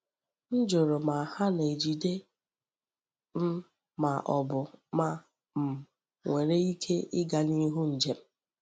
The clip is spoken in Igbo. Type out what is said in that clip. M jụrụ ma ha na-ejide m ma ọ bụ ma m nwere ike ịga n’ihu ije m.